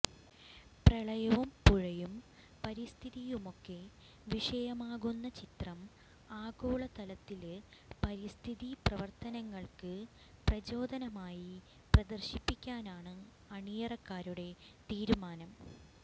പ്രളയവും പുഴയും പരിസ്ഥിതിയുമൊക്കെ വിഷയമാകുന്ന ചിത്രം ആഗോളതലത്തില് പരിസ്ഥിതി പ്രവര്ത്തനങ്ങള്ക്ക് പ്രചോദനമായി പ്രദര്ശിപ്പിക്കാനാണ് അണിയറക്കാരുടെ തീരുമാനം